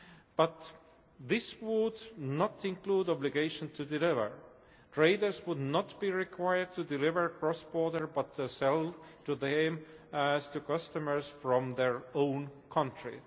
But this would not include the obligation to deliver traders would not be required to deliver cross border but sell to them as to customers from their own country.